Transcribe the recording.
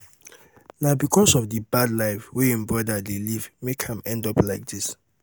na because of the bad life wey im brother dey live make am end up like dis